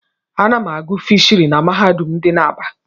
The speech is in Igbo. Ana m agụ fishiry n'mahadum dị n'Aba.